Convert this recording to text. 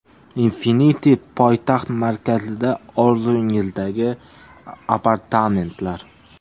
Infinity poytaxt markazida orzungizdagi apartamentlar.